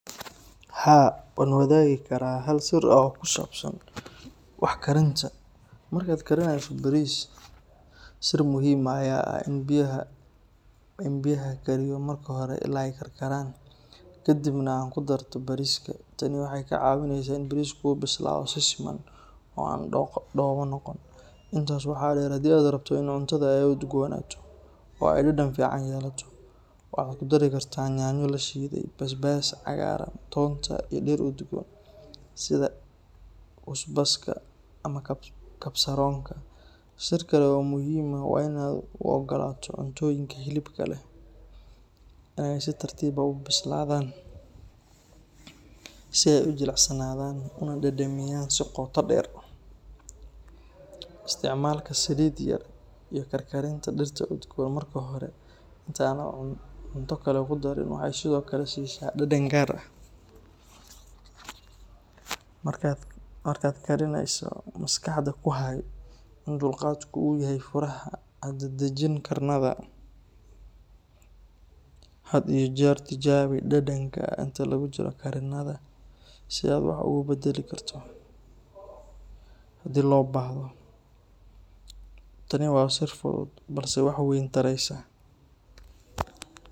Haa, waan wadaagi karaa hal sir oo ku saabsan wax karinta. Marka aad karinayso bariis, sir muhiim ah ayaa ah in aad biyaha kariyo marka hore ilaa ay karkaraan, ka dibna aad ku darto bariiska. Tani waxay kaa caawinaysaa in bariisku u bislaado si siman oo aan dhoobo noqon. Intaas waxaa dheer, haddii aad rabto in cuntada ay udgoonaato oo ay dhadhan fiican yeelato, waxaad ku dari kartaa yaanyo la shiiday, basbaas cagaaran, toonta iyo dhir udgoon sida kusbaska ama kabsaroonka. Sir kale oo muhiim ah waa in aad u ogolaato cuntooyinka hilibka leh in ay si tartiib ah u bislaadaan si ay u jilicsanaadaan una dhadhamiyaan si qoto dheer. Isticmaalka saliid yar iyo karkarinta dhirta udgoon marka hore inta aanad cunto kale ku darin waxay sidoo kale siisaa dhadhan gaar ah. Markaad kariyso, maskaxda ku hay in dulqaadku uu yahay furaha; ha dadajin karinada. Had iyo jeer tijaabi dhadhanka inta lagu jiro karinada si aad wax uga beddeli karto haddii loo baahdo. Tani waa sir fudud balse wax weyn taraysa.